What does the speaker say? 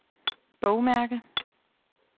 bogmærke